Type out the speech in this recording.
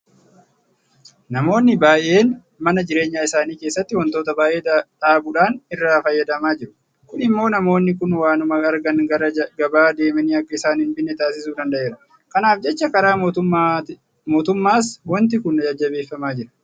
Namoonni baay'een mana jireenya isaanii keessatti waantota baay'ee dhaabuudhaan irraa fayyadamaa jiru. Kun immoo namoonni kun waanuma argan gara gabaa deemanii akka isaan hinbinne taasisuu danda'eera. Kanaaf jecha karaa mootummaas waanti kun jajjabeeffamaa jira.